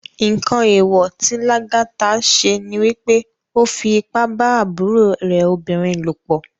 Nkán éwò ti Lagata sé ni wipé ó fi ipá bá àbúró rè óbirin lópò